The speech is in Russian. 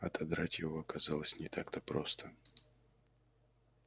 отодрать его оказалось не так-то просто